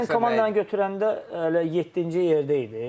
Mən komandanı götürəndə hələ yeddinci yerdə idi.